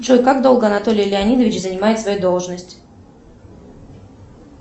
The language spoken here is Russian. джой как долго анатолий леонидович занимает свою должность